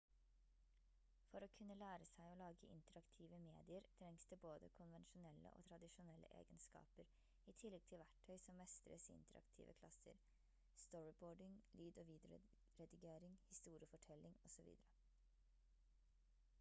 for å kunne lære seg å lage interaktive medier trengs det både konvensjonelle og tradisjonelle egenskaper i tillegg til verktøy som mestres i interaktive klasser storyboarding lyd- og videoredigering historiefortelling osv.